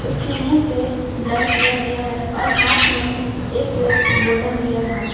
उसके मुंह पे बलर किया गया है और हाथ में एक बोटल लिया है।